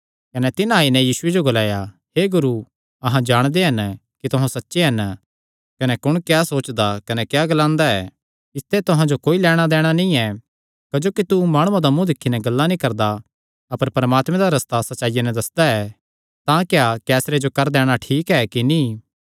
कने तिन्हां आई नैं यीशुये जो ग्लाया हे गुरू अहां जाणदे हन कि तुहां सच्चे हन कने कुण क्या सोचदा कने क्या ग्लांदा ऐ इसते तुहां जो कोई लैणां दैणा नीं ऐ क्जोकि तू माणुआं दा मुँ दिक्खी नैं गल्लां नीं करदा अपर परमात्मे दा रस्ता सच्चाईया नैं दस्सदा ऐ तां क्या कैसरे जो कर दैणा ठीक ऐ कि नीं